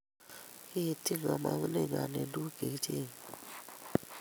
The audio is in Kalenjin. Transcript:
kiityi kamong'uneng'wany eng tukuk chekichenyei